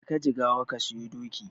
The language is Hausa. Jeka Jigawa ka siyo doki.